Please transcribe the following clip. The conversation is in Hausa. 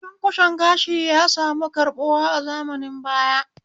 Cunkushen gashi ya sami karɓuwa a zamanin baya